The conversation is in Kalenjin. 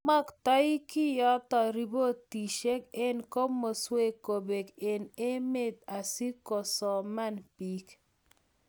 Maktoi keyokto ripotisiek eng komaswek kobek eng emet asikosoman bik